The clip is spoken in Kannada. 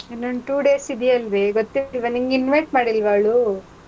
ಇನ್ನೊಂದ್ two days ಇದೆಯಲ್ವೇ ಗೊತ್ತಿರ್ಲಿಲ್ವಾ ನಿಂಗ್ invite ಮಾಡಿಲ್ವಾ ಅವ್ಳು?